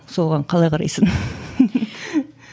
соған қалай қарайсың